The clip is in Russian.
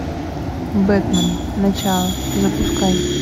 бэтмен начало запускай